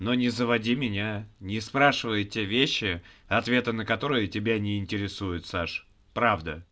но не заводи меня не спрашивай те вещи ответы на которые тебя не интересует саш правда